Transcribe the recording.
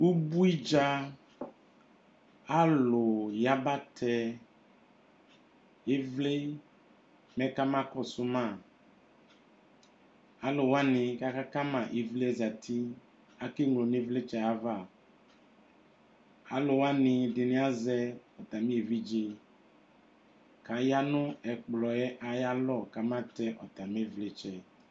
Ubui dza, alʋ yabatɛ ɩvlɩ mɛ kamakɔsʋ ma. Alʋ wanɩ kʋ aka ma ɩvlɩ yɛ zati. Akeŋlo nʋ ɩvlɩtsɛ yɛ ava. Alʋ wanɩ dɩnɩ azɛ atamɩ evidze kʋ aya nʋ ɛkplɔ yɛ ayalɔ kamatɛ atamɩ ɩvlɩtsɛ.